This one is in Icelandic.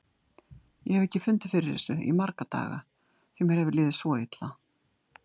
Ég hef ekki fundið fyrir þessu í marga daga því mér hefur liðið svo illa.